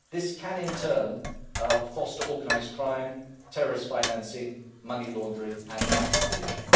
This can in turn foster organised crime, terrorist financing, money laundering and tax evasion.